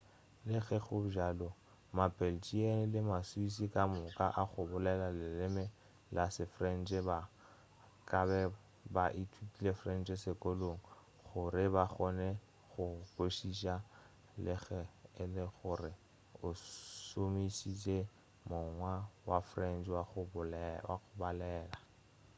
le ge go le bjalo ma-belgian le ma-swiss kamoka a go bolela leleme la se-french ba kabe ba ithutile french sekolong gore ba kgone go go kwešiša le ge e le gore o šomišitše mokgwa wa french wa go balela